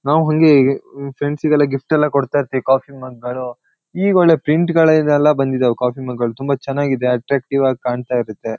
ನಾವ್ ಹಂಗೆ ಅಹ್ ಫ್ರೆಂಡ್ಸಿಗೆಲ್ಲ ಗಿಫ್ಟ್ ಎಲ್ಲಾ ಕೊಡ್ತಾ ಇರ್ತೀವಿ ಕಾಫಿ ಮಗ್ ಗಳು ಈಗೊಳ್ಳೆ ಪ್ರಿಂಟ್ಗಳ್ದೆಲ್ಲಾ ಬಂದಿದವೇ ಕಾಫಿ ಮಗ್ ಗಳು ತುಂಬಾ ಚೆನ್ನಾಗಿದೆ ಅಟ್ರಕ್ಟಿವಾಗ್ ಕಾಣ್ತಾ ಇರತ್ತೆ.